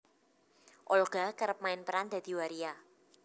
Olga kerep main peran dadi waria